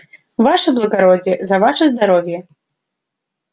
ваше благородие за ваше здоровье